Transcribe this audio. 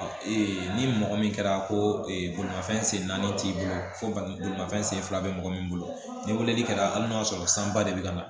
ni mɔgɔ min kɛra ko bolimafɛn sen naani t'i bolo foronsen fila bɛ mɔgɔ min bolo ni weleli kɛra hali n'a y'a sɔrɔ san ba de bɛ ka na